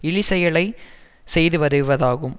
இழிசெயலைச் செய்து வருவதாகும்